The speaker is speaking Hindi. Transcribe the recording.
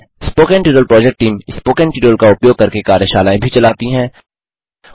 spoken tutorial project team spoken tutorial का उपयोग करके कार्यशालाएँ भी चलाती है